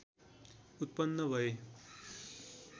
उत्पन्न भए